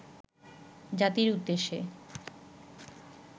জাতির উদ্দেশ্যে